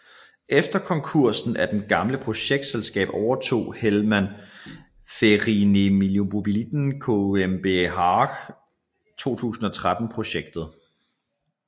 Efter konkursen af det gamle projektselskab overtog Helma Ferienimmobilien GmbH 2013 projektet